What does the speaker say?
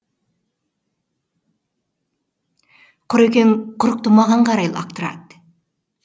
құрекең құрықты маған қарай лақтырады